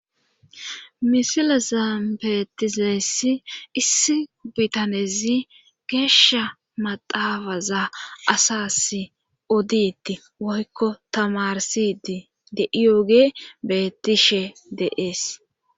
misila zambetizeessi issi bitanezi geesha maxaafaza asas oditti woykko tamarsi dii de iyooge bettishe deees